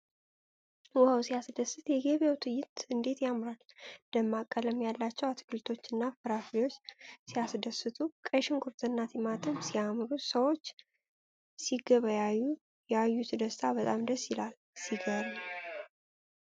ዋው! ሲያስደስት! የገበያው ትዕይንት እንዴት ያምራል! ደማቅ ቀለም ያላቸው አትክልቶችና ፍራፍሬዎች ሲያስደስቱ! ቀይ ሽንኩርትና ቲማቲም ሲያምሩ! ሰዎች ሲገበያዩ ያዩት ደስታ በጣም ደስ ይላል። ሲያስገርም!